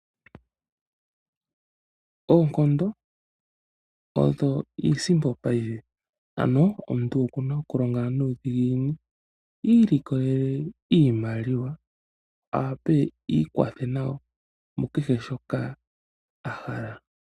Oonkondo odho iisimpo paife, ano omuntu okuna okulonga nuudhiginini ilikolele iimaliwa awape iikwathe nayo mukehe shoka ahala.